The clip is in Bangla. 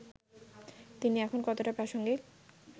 তিনি এখন কতটা প্রাসঙ্গিক